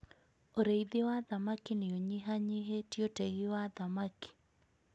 Ũrĩithi wa thamaki nĩ ũnyihanyihĩtie ũtegi wa thamaki.